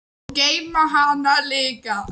Og geyma hana líka.